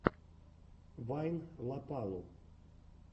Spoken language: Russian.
вайн лопалу